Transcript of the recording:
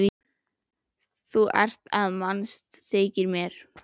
Þú ert að mannast, þykir mér.